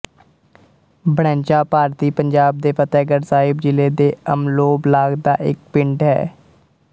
ਬੜੈਚਾਂ ਭਾਰਤੀ ਪੰਜਾਬ ਦੇ ਫ਼ਤਹਿਗੜ੍ਹ ਸਾਹਿਬ ਜ਼ਿਲ੍ਹੇ ਦੇ ਅਮਲੋਹ ਬਲਾਕ ਦਾ ਇੱਕ ਪਿੰਡ ਹੈ